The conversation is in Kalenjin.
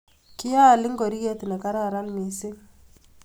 Ki aal ngoriet ne kararan mising